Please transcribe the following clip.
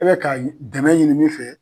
E bɛ ka dɛmɛ ɲini min fɛ